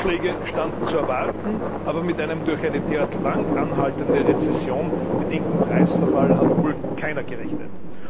Rückschläge standen zu erwarten, aber mit einem durch eine derart lang anhaltende Rezession bedingten Preisverfall hat wohl keiner gerechnet.